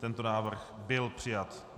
Tento návrh byl přijat.